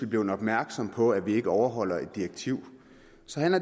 blevet opmærksomme på at vi ikke overholder et direktiv